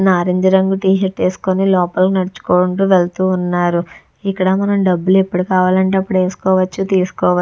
నారింజ రంగు టీ-షర్ట్ వేసుకొని లోపల నడుచుకుంటూ వెళ్తూ ఉన్నారు ఇక్కడ మనం డబ్బులు ఎప్పుడు కావాలంటే అప్పుడు వేసుకోవచ్చు తీసుకోవచ్చు.